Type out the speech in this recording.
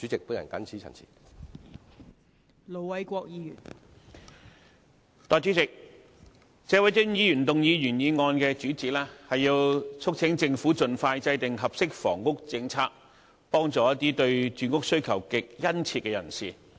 代理主席，謝偉俊議員動議原議案的主旨，是要促請政府盡快制訂合適房屋政策，幫助一些對住屋需求極殷切的人士。